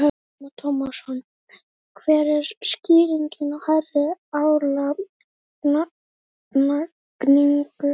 Telma Tómasson: Hver er skýringin á hærri álagningu?